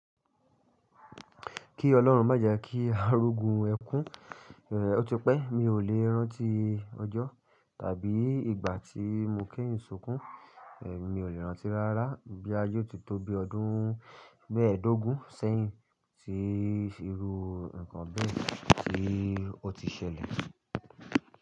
Kí ọlọ́run má jẹ kí arogun ẹkún. Ó ti pẹ́ mi ò lè rántí ọjọ́ tàbí ìgbà tí mo kẹ́yìn sunkún. Èmi ò lè rántí rárá boya yiò ti tó bí ọdún mẹ́ẹ̀dógún sẹ́yìn tí irú nǹkan bẹ́ẹ̀ tí ó ti ṣẹlẹ̀